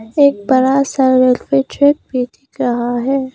एक बड़ा सा दिख रहा है।